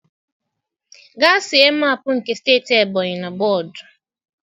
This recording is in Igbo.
Gaa see mapụ nke steeti ebonyi na bọọdụ.